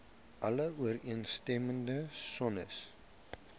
alle ooreenstemmende sones